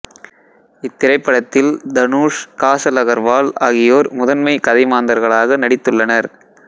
இத்திரைப்படத்தில் தனுஷ் காசல் அகர்வால் ஆகியோர் முதன்மைக் கதைமாந்தர்களாக நடித்துள்ளனர்